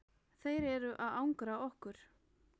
Þeir eru að angra okkur.